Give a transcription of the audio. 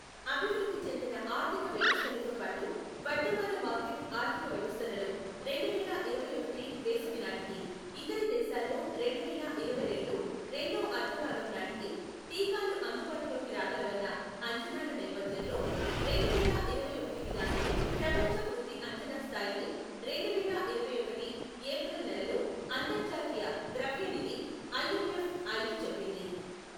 అభివృద్ధి చెందిన ఆర్థిక వ్యవస్థలతోపాటు వర్ధమాన మార్కెట్ ఆర్థిక వ్యవస్థలలో రెండు వేల ఇరవై ఒకటి వేసవినాటికి, ఇతర దేశాల్లో రెండు వేల ఇరవై రెండు రెండో అర్థభాగంనాటికి టీకాలు అందుబాటులోకి రాగలవన్న అంచనాల నేపథ్యంలో రెండు వేల ఇరవై ఒకటికి గాను ప్రపంచ వృద్ధి అంచనా స్థాయిని రెండు వేల ఇరవై ఒకటి ఏప్రిల్ నెలలో అంతర్జాతీయ ద్రవ్యనిధి ఐఎంఎఫ్ ఐదు చెప్పింది